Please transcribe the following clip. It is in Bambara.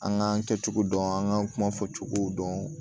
An k'an kɛcogo dɔn an k'an kuma fɔcogow dɔn